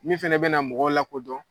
Min fɛnɛ bɛna mɔgɔw lakodɔn